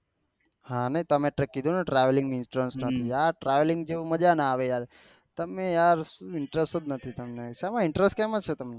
હા ને તમે એટલી કીધું ને travelling interest નથી નથી આ travelling જેવું મજા ના આવે યાર તમે યાર શું interest નથી શેમાં શેમાં interest કેમાં છે તમેન